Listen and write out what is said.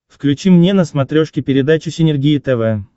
включи мне на смотрешке передачу синергия тв